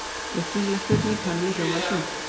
Upprunaleg spurning Hönnu hljómaði svona: